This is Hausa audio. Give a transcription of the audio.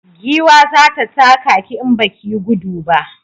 Giwa zai taka ki in baki yi gudu ba